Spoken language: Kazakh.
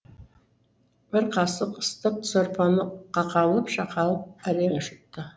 бір қасық ыстық сорпаны қақалып шақалып әрең жұтты